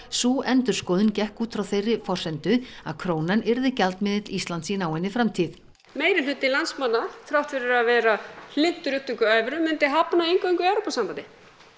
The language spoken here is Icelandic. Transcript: sú endurskoðun gekk út frá þeirri forsendu að krónan yrði gjaldmiðill Íslands í náinni framtíð meirihluti landsmanna þrátt fyrir að vera hlynntur upptöku evru myndi hafna inngöngu í Evrópusambandið